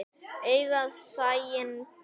Augað sæinn ber.